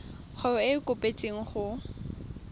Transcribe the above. kgwebo e e kopetswengcc go